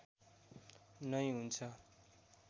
नै हुन्छ